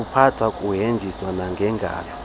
kuphathwa kuheshwa nangengalo